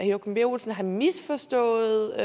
joachim b olsen har misforstået